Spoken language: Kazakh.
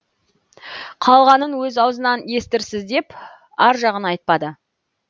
қалғанын өз аузынан естірсіз деп аржағын айтпады